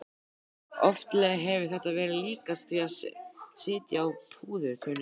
Oftlega hefur þetta verið líkast því að sitja á púðurtunnu.